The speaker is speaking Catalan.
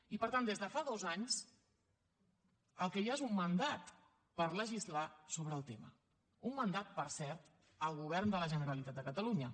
i per tant des de fa dos anys el que hi ha és un mandat per legislar sobre el tema un mandat per cert al govern de la generalitat de catalunya